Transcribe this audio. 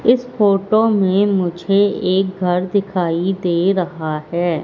इस फोटो में मुझे एक घर दिखाई दे रहा है।